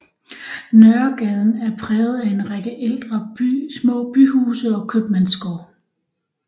Nørregaden er præget af en række ældre små byhuse og købmandsgård